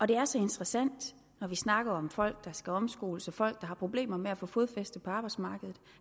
det er så interessant når vi snakker om folk der skal omskoles og folk der har problemer med at få fodfæste på arbejdsmarkedet